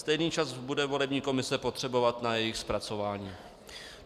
Stejný čas bude volební komise potřebovat na jejich zpracování.